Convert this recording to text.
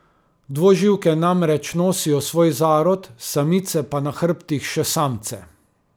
Dvoživke namreč nosijo svoj zarod, samice pa na hrbtih še samce.